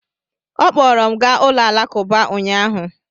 Ọ kpọọrọ m gaa ụlọ alakụba ụnyahụ.